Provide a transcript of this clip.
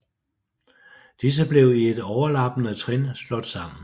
Disse blev i et overlappende trin slået sammen